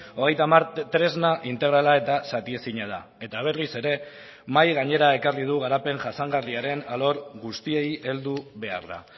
hogeita hamar tresna integrala eta zatiezina da eta berriz ere mahai gainera ekarri du garapen jasangarriaren alor guztiei heldu beharra